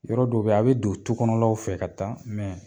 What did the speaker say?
Yɔrɔ dɔ be a bi don tukɔnɔlaw fɛ ka taa